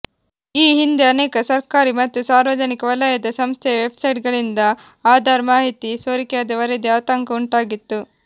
ಈ ಹಿಂದೆ ಅನೇಕ ಸರ್ಕಾರಿ ಮತ್ತು ಸಾರ್ವಜನಿಕ ವಲಯದ ಸಂಸ್ಥೆಯ ವೆಬ್ಸೈಟ್ಗಳಿಂದ ಆಧಾರ್ ಮಾಹಿತಿ ಸೋರಿಕೆಯಾದ ವರದಿ ಆತಂಕ ಉಂಟಾಗಿತ್ತು